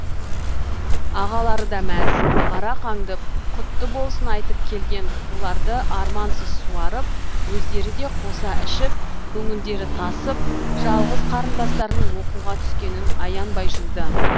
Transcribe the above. ағалары да мәз арақ аңдып құтты болсын айтып келген қуларды армансыз суарып өздері де қоса ішіп көңілдері тасып жалғыз қарындастарының оқуға түскенін аянбай жуды